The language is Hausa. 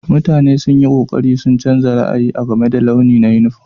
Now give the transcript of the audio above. Mutane sun yi ƙoƙari su canza ra'ayi na game da launi na yunifom.